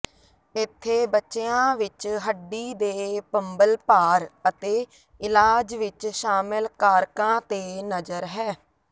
ਇੱਥੇ ਬੱਚਿਆਂ ਵਿੱਚ ਹੱਡੀ ਦੇ ਭੰਬਲਭਾਰ ਅਤੇ ਇਲਾਜ ਵਿੱਚ ਸ਼ਾਮਲ ਕਾਰਕਾਂ ਤੇ ਨਜ਼ਰ ਹੈ